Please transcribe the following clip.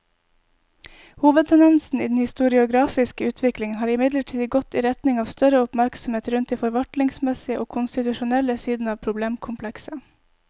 Hovedtendensen i den historiografiske utviklingen har imidlertid gått i retning av større oppmerksomhet rundt de forvaltningsmessige og konstitusjonelle sidene av problemkomplekset.